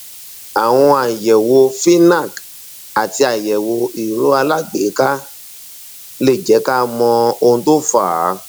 àwọn àyẹwò fnac àti àyẹwò ìró alágbèéká lè jẹ ká mọ ohun tó fà á